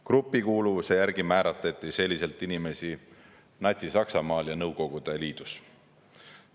Grupikuuluvuse järgi määratleti inimesi Natsi-Saksamaal ja Nõukogude Liidus.